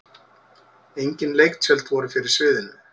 Engin leiktjöld voru fyrir sviðinu.